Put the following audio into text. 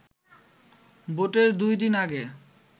ভোটের দুই দিন আগে